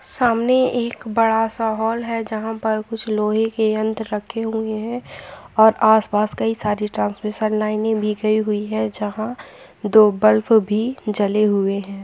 सामने एक बड़ा सा हॉल है जहाँ पर कुछ लोहे के यंत्र रखे हुए हैं और आस पास कई सारे ट्रांसमिसन लाइने बिखरी हुई हैं जहाँ दो ब्लफ भी जले हुए हैं।